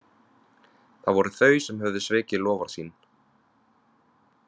Það voru þau sem höfðu svikið loforð sín.